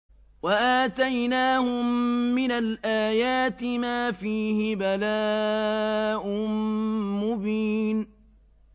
وَآتَيْنَاهُم مِّنَ الْآيَاتِ مَا فِيهِ بَلَاءٌ مُّبِينٌ